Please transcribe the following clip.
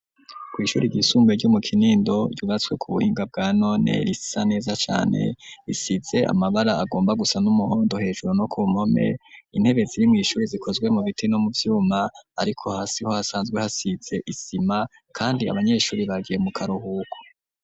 Kw'ishuri ryisumbuye, ryo mu Kinindo, ryubatswe ku buhinga, bwa none, risa neza cane, risize amabara, agomba gusa n'umuhondo, hejuru no ku mpome; intebe ziri mw'ishuri, zikozwe mu biti, no mu vyuma; ariko hasi ho, hasanzwe hasize isima, kandi abanyeshuri, bagiye mu karuhuko.